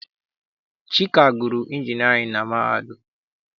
Chika gụrụ injinịarịn na mahadum.